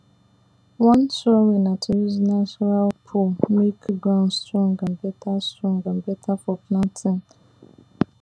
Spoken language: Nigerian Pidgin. one sure way na to use natural poo make ground strong and better strong and better for planting